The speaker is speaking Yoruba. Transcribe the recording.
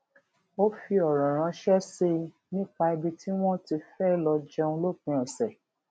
ó fi òrò ránṣé sí i nípa ibi tí wón ti fé lọ jẹun lópin òsè